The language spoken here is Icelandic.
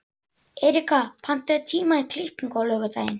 Erika, pantaðu tíma í klippingu á laugardaginn.